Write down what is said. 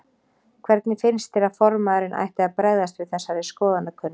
Hvernig finnst þér að formaðurinn ætti að bregðast við þessari skoðanakönnun?